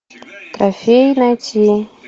трофеи найти